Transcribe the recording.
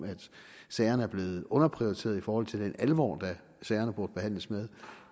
sagerne er blevet underprioriteret i forhold til den alvor sagerne burde behandles med